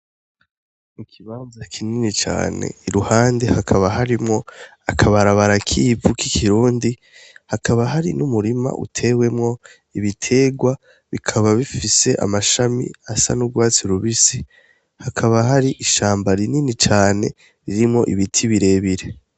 Ikibanza kinini cane iruhande hakaba harimwo akabarabara k'ivu k'ikirundi hakaba hari n'umurima utewemwo ibiterwa bikaba bifise amashami asa n'urwatsi rubisi, hakaba hari ishamba rinini cane ririmwo ibiti birebire.